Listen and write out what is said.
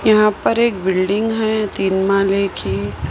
यहां पर एक बिल्डिंग है तीन माले की।